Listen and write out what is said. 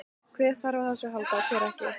Hver þarf á þessu að halda og hver ekki?